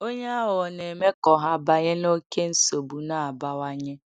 Onye aghụghọ na-eme ka ọha banye n’oké nsogbu na-abawanye.